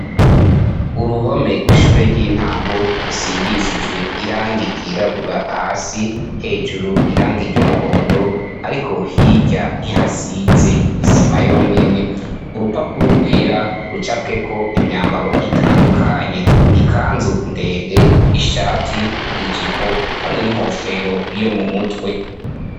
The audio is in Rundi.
Uruhome rw'ishure ry'intango risigishijwe irangi ryirabura hasi ,hejuru irangi ry'umuhondo ariko hirya ntihasize n'isima yonyene. Urapapuro rwera rucapweko imyambaro itandukanye ,ikanzu ndende ,ishati ijipo hamwe n'inkofero yo mu mutwe.